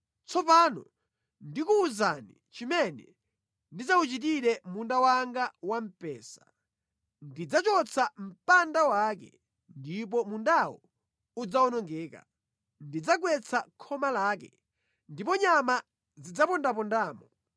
Tsopano ndikuwuzani chimene ndidzawuchitire munda wanga wa mpesa: ndidzachotsa mpanda wake, ndipo mundawo udzawonongeka; ndidzagwetsa khoma lake, ndipo nyama zidzapondapondamo.